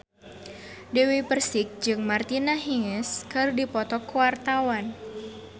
Dewi Persik jeung Martina Hingis keur dipoto ku wartawan